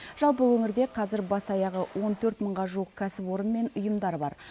жалпы өңірде қазір бас аяғы он төрт мыңға жуық кәсіпорын мен ұйымдар бар